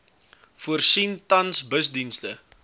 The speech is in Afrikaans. voorsien tans busdienste